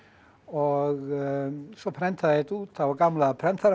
og svo prenta ég þetta út á gamla prentarinn